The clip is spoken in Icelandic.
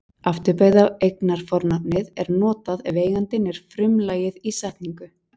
Afturbeygða eignarfornafnið er notað ef eigandinn er frumlagið í setningu.